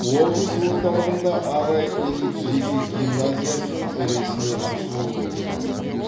облыс орталығында арай элит жеке гимназиясының ресми ашылуы өтті